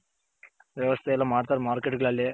ವ್ಯವಸ್ಥೆ ಎಲ್ಲ ಮಾಡ್ತಾರೆ Market ಗಳಲ್ಲಿ.